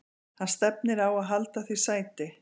Hann stefnir á að halda því sæti.